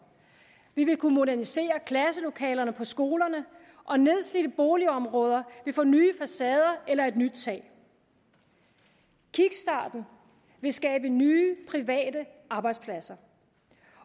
vi vil kunne modernisere klasselokalerne på skolerne og nedslidte boligområder vil få nye facader eller et nyt tag kickstarten vil skabe nye private arbejdspladser